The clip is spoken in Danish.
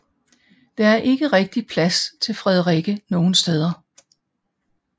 Der er ikke rigtigt plads til Frederikke nogen steder